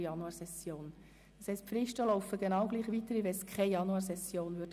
Das bedeutet, dass sämtliche Fristen weiterlaufen, als ob es keine Januarsession gäbe.